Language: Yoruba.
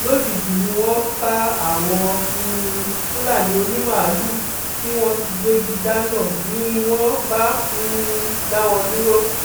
lójijì ni wọn kan àwọn um fúlàní onímàálùú tí wọn ti gbégi dáná ni wọn bá um dá wọn dúró